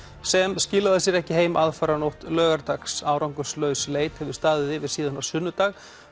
sem skilaði sér ekki heim aðfaranótt laugardags árangurslaus leit hefur staðið yfir síðan á sunnudag